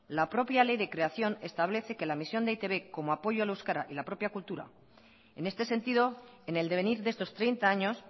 la propia ley de creación establece que la misión de e i te be como apoyo al euskara y la propia cultura en este sentido en el devenir de estos treinta años